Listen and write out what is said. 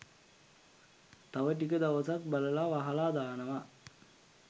තව ටික දවසක් බලල වහලා දානවා